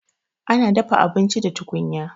Ana dafa abinci da tukunya